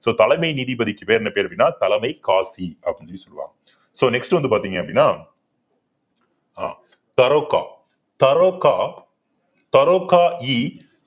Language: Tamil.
so தலைமை நீதிபதிக்கு பெயர் என்ன பேரு அப்படின்னா தலைமை காசி அப்படின்னு சொல்லுவாங்க so next வந்து பார்த்தீங்க அப்படின்னா ஆஹ்